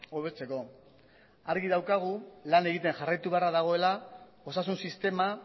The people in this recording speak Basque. hobetzeko argi daukagu lan egiten jarraitu beharra dagoela osasun sistema